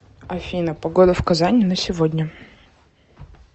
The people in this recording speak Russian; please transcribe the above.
афина погода в казани на сегодня